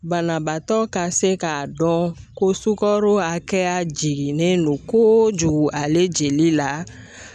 Banabaatɔ ka se k'a dɔn ko sukaro hakɛya jiginnen don kojugu ale jeli la.